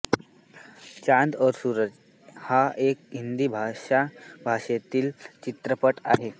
चॉंद और सूरज हा एक हिंदी भाषा भाषेतील चित्रपट आहे